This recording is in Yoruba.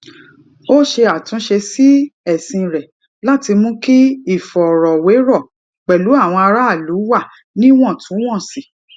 ó ṣe àtúnṣe sí ẹsìn rẹ láti mú kí ìfọrọwérọ pẹlú àwọn aráàlú wà níwòntúnwònsì